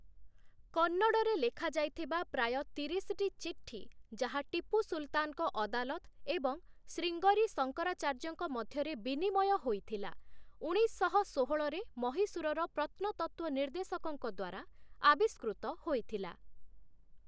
କନ୍ନଡରେ ଲେଖାଯାଇଥିବା ପ୍ରାୟ ତିରିଶ ଟି ଚିଠି, ଯାହା ଟିପୁ ସୁଲତାନଙ୍କ ଅଦାଲତ ଏବଂ ଶ୍ରୀଙ୍ଗରୀ ଶଙ୍କରାଚାର୍ଯ୍ୟଙ୍କ ମଧ୍ୟରେ ବିନିମୟ ହୋଇଥିଲା, ଉଣେଇଶଶହ ଷୋହଳରେ ମହୀଶୂରର ପ୍ରତ୍ନତତ୍ତ୍ୱ ନିର୍ଦ୍ଦେଶକଙ୍କ ଦ୍ୱାରା ଆବିଷ୍କୃତ ହୋଇଥିଲା ।